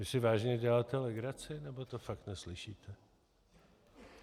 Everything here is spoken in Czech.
Vy si vážně děláte legraci, nebo to fakt neslyšíte?